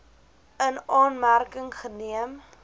in aanmerking geneem